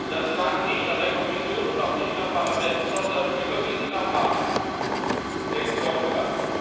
Das lag nicht an der Kommission und auch nicht am Parlament, sondern überwiegend am Rat, der geblockt hat.